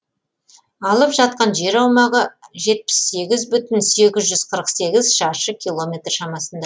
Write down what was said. алып жатқан жер аумағы жетпіс сегіз бүтін сегіз жүз қырық сегіз шаршы километр шамасында